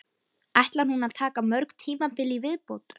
Ætlar hún að taka mörg tímabil í viðbót?